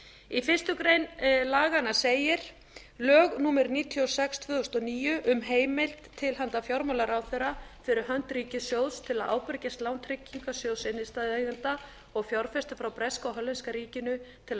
í fyrstu grein laga segir lög númer níutíu og sex tvö þúsund og níu um heimild til handa fjármálaráðherra fyrir hönd ríkissjóðs til að ábyrgjast lán tryggingarsjóðs innstæðueigenda og fjárfesta frá breska og hollenska ríkinu til að